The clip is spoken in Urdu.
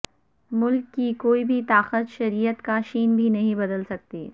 ملک کی کوئی بھی طاقت شریعت کا شین بھی نہیں بدل سکتی